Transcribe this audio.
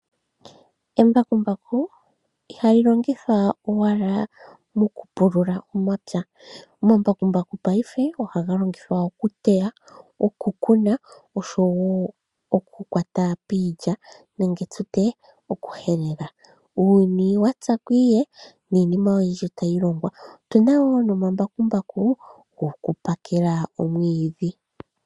Embakumbaku ihali longithwa owala mokupulula omapya. Omambakumbaku paife ohaga longithwa okuteya, okukuna noshowo okuhelela. Uuyuni wa tya ko ihe niinima oyindji otayi longwa. Otu na wo omambakumbaku gokupakela omwiidhi.